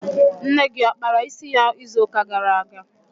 Nne gị ọ kpara isi ya izu ụka gara aga?